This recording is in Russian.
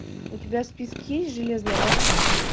у тебя в списке есть железная башка